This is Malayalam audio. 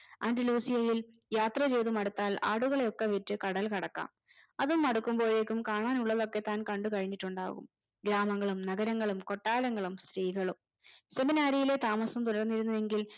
ആന്റിലോസിയയിൽ യാത്ര ചെയ്ത് മടുത്താൽ ആടുകളെ ഒക്കെ വിറ്റ് കടൽ കടക്കാം അതും മടുക്കുമ്പോയേക്കും കാണാൻ ഉള്ളതൊക്കെ താൻ കണ്ടു കഴിഞ്ഞിട്ടുണ്ടാവും ഗ്രാമങ്ങളും നഗരങ്ങളും കൊട്ടാരങ്ങളും സ്ത്രീകളും seminary യിലെ താമസം തുടർന്നിരുന്നുവെങ്കിൽ